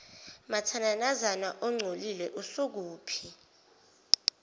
mathananazana ongcolile usukuphi